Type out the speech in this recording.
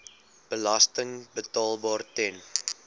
belasting betaalbaar ten